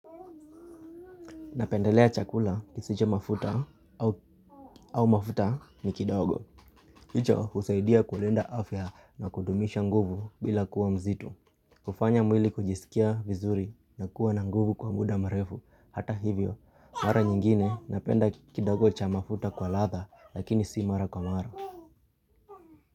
Napendelea chakula kisicho mafuta au mafuta ni kidogo. Hicho husaidia kulinda afya na kudumisha nguvu bila kuwa mzito. Kufanya mwili kujisikia vizuri na kuwa na nguvu kwa muda mrefu. Hata hivyo, mara nyingine napenda kidogo cha mafuta kwa ladha lakini si mara kwa mara.